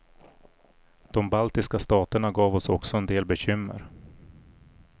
De baltiska staterna gav oss också en del bekymmer.